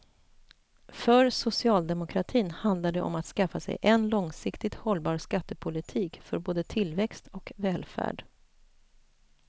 För socialdemokratin handlar det om att skaffa sig en långsiktigt hållbar skattepolitik för både tillväxt och välfärd.